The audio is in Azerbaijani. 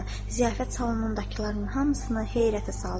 Ziyafət salonundakıların hamısını heyrətə saldı.